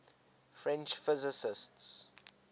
french physicists